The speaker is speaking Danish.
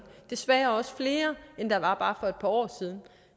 desværre også flere end der var for bare et par år siden